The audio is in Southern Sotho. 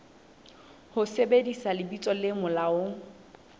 ho sebedisa lebitso le molaong